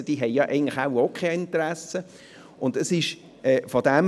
Also haben diese eigentlich auch kein Interesse.